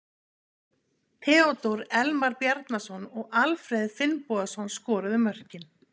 Theodór Elmar Bjarnason og Alfreð Finnbogason skoruðu mörkin.